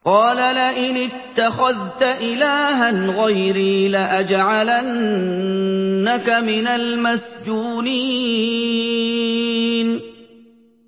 قَالَ لَئِنِ اتَّخَذْتَ إِلَٰهًا غَيْرِي لَأَجْعَلَنَّكَ مِنَ الْمَسْجُونِينَ